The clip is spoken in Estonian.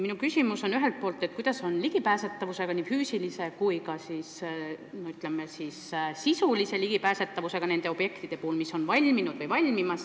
Minu küsimus on ühelt poolt, kuidas on valminud või valmimas objektide puhul lood nende füüsilise ligipääsetavusega?